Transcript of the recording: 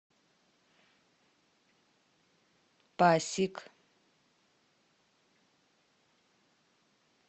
пасиг